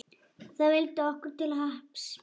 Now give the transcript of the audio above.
Það vildi okkur til happs.